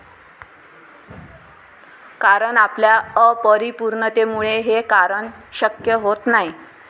कारण आपल्या अपरिपूर्णतेमुळे हे करणं शक्य होत नाही.